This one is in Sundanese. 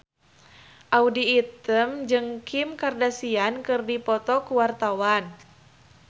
Audy Item jeung Kim Kardashian keur dipoto ku wartawan